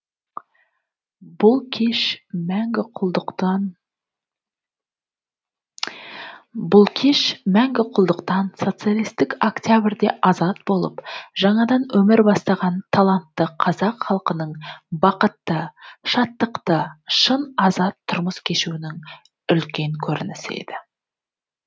бұл кеш мәңгі құлдықтан социалистік октябрьде азат болып жаңадан өмір бастаған талантты қазақ халқының бақытты шаттықты шын азат тұрмыс кешуінің үлкен көрінісі еді